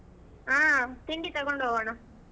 ಆಹ್ ತಿಂಡಿ ತಗೊಂಡ್ ಹೋಗೋಣ.